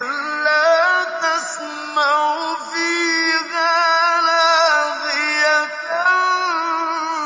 لَّا تَسْمَعُ فِيهَا لَاغِيَةً